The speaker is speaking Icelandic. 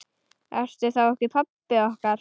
Ertu þá ekki pabbi okkar?